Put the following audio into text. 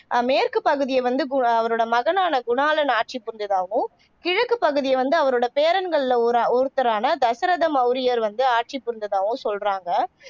ஆஹ் மேற்குப்பகுதியை வந்து பு அவரோட மகனான குணாளன் ஆட்சி புரிஞ்சதாகவும் கிழக்குப் பகுதியை வந்து அவரோட பேரன்களில ஒரு ஒருத்தரான தசரத மௌரியர் வந்து ஆட்சி புரிந்ததாகவும் சொல்றாங்க.